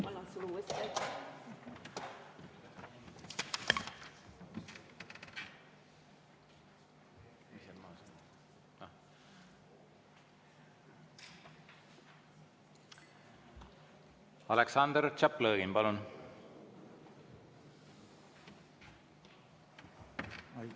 Aleksandr Tšaplõgin, palun!